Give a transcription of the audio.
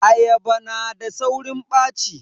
Ayaba yana da saurin ɓaci.